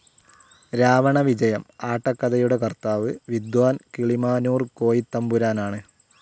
രാവണവിജയം ആട്ടകഥയുടെ കർത്താവ്‌ വിദ്വാൻ കിളിമാനൂർ കോയിത്തമ്പുരാനാണ്.